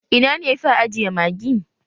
Ina ne yafi a ajiye Magi?